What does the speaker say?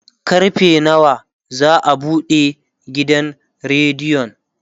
karfe nawa za'a buɗe gidan rediyon?